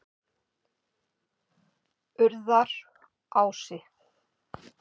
Urðarási